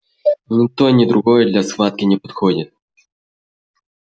ни то ни другое для схватки не подходит